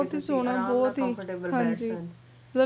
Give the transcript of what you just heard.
ਬਹੁਤ ਈ ਕਿ ਤੁਸੀਂ ਅਰਾਮ ਨਾਲ comfortable ਬੈਠ ਸਕੋ